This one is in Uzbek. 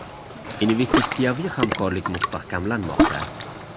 Investitsiyaviy hamkorlik mustahkamlanmoqda.